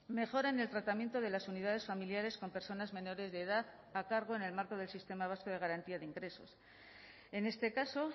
mejora en el tratamiento de las unidades familiares con personas menores de edad a cargo en el marco del sistema vasco de garantía de ingresos en este caso